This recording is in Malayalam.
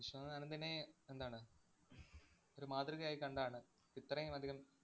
വിശ്വനാഥന്‍ ആനന്ദിനെ എന്താണ് ഒരു മാതൃകയായി കണ്ടാണ് ഇത്രയുമധികം